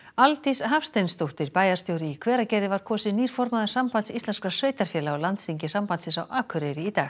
Aldís Hafsteinsdóttir bæjarstjóri í Hveragerði var kosin nýr formaður Sambands íslenskra sveitarfélaga á landsþingi sambandsins á Akureyri í dag